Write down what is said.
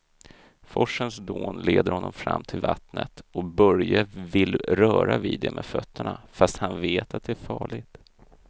Forsens dån leder honom fram till vattnet och Börje vill röra vid det med fötterna, fast han vet att det är farligt.